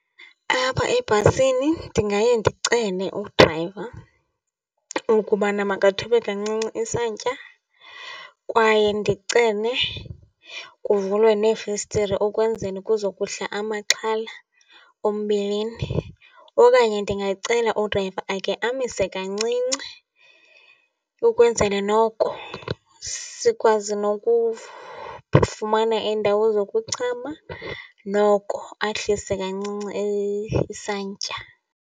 Apha ebhasini ndingaye ndicele udrayiva ukubana makathobe kancinci isantya kwaye ndicele kuvulwe neefestire ukwenzele kuzokuhla amaxhala ombilini. Okanye ndingacela udrayiva ake amise kancinci ukwenzele noko sikwazi nokufumana iindawo zokuchama, noko ahlise kancinci isantya.